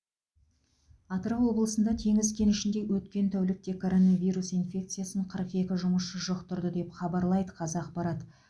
атырау облысында теңіз кенішінде өткен тәулікте коронавирус инфекциясын қырық екі жұмысшы жұқтырды деп хабарлайды қазақпарат